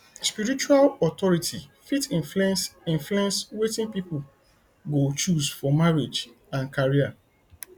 spiritual authority fit influence influence wetin pipo go choose for marriage and career